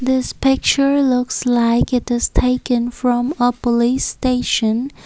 this picture looks like it is taken from a police station.